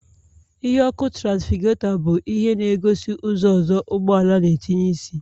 Ìhè ọkụ traficagetor bu ihe na-egosi ụzọ ozo ụgbọala na-etinye isi